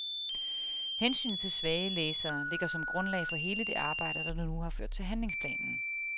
Hensynet til svage læsere ligger som grundlag for hele det arbejde, der nu har ført til handlingsplanen.